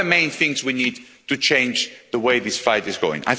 What are the main things we need to change in the way this fight is going?